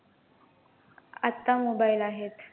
आता mobile आहेत.